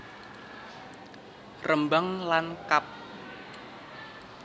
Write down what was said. Rembang lan kab